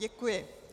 Děkuji.